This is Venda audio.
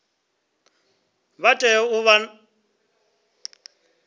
vha tea u vha vha